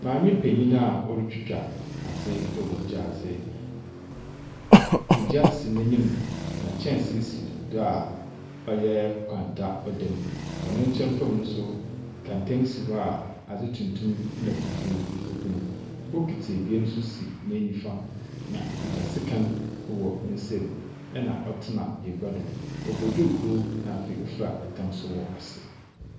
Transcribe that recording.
Maami penyin a otwitwa adi wɔ gyaadi. Egya si nenim na kyɛnsii si do a ɔyɛ kwanta ɔdɛ mu . Wɔ nenkyɛn fɛm so kɛntɛn si hɔ a adi tuntum na fufuo egu mu. Bokiti ebien so si nenifa na okuta sikan wɔ nensɛm ɛna ɔtena egwa do. Ɔbɔ duuku nna afei fra ɛtam soro ne ase.